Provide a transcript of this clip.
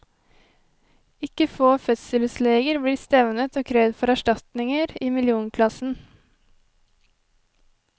Ikke få fødselsleger blir stevnet og krevd for erstatninger i millionklassen.